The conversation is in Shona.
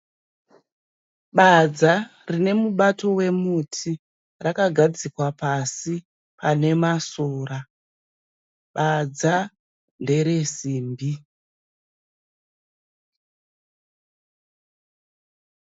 Badza rine mubato wemuti. Rakagadzikwa pasi panemasora. Badza nderesimbi.